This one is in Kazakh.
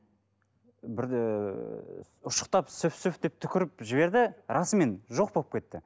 бірде ұшықтап сүф сүф деп түкіріп жіберді расымен жоқ болып кетті